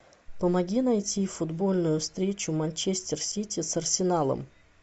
помоги найти футбольную встречу манчестер сити с арсеналом